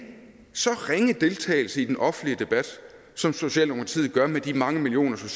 så ringe deltagelse i den offentlige debat som socialdemokratiet gør med de mange millioner som